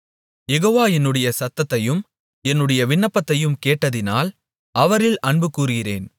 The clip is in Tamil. யெகோவா என்னுடைய சத்தத்தையும் என்னுடைய விண்ணப்பத்தையும் கேட்டதினால் அவரில் அன்புகூருகிறேன்